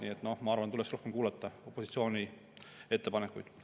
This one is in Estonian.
Nii et ma arvan, et tuleks rohkem kuulata opositsiooni ettepanekuid.